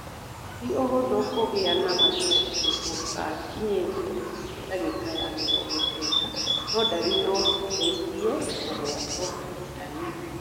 Tĩ ũhũthũ kũgĩa na macokia gũtakinyĩte ndagĩka ya mĩrongo kenda, no ndari no citeithie kugwata ndaĩ iyo.